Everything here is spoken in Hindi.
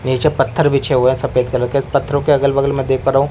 नीचे पत्थर बिछे हुए है सफेद कलर के पत्थरों के अगल बगल मै देख पा रहा हूं।